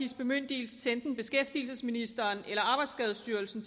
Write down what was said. bemyndigelse til enten beskæftigelsesministeren eller arbejdsskadestyrelsen